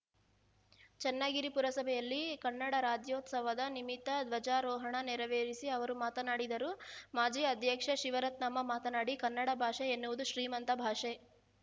ಚನ್ನಗಿರಿ ಪುರಸಭೆಯಲ್ಲಿ ಕನ್ನಡ ರಾಜ್ಯೋತ್ಸವದ ನಿಮಿತ್ತ ಧ್ವಜಾರೋಹಣ ನೆರವೇರಿಸಿ ಅವರು ಮಾತನಾಡಿದರು ಮಾಜಿ ಅಧ್ಯಕ್ಷೆ ಶಿವರತ್ನಮ್ಮ ಮಾತನಾಡಿ ಕನ್ನಡ ಭಾಷೆ ಎನ್ನುವುದು ಶ್ರೀಮಂತ ಭಾಷೆ